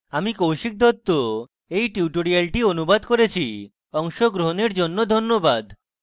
আমি কৌশিক দত্ত এই টিউটোরিয়ালটি অনুবাদ করেছি অংশগ্রহনের জন্য ধন্যবাদ